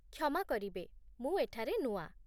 କ୍ଷମା କରିବେ, ମୁଁ ଏଠାରେ ନୂଆ